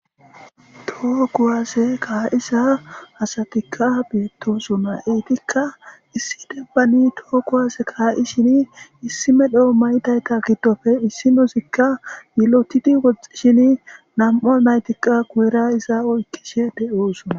Toho kuwaase kaiza asatika Betosona etika issi denbani toho kuwase Kaishin issi medho mayidayta ista gidope issinozika yilotidi woxxiehibi Namu naytikaguyera Guyera Iza oykishe de'osona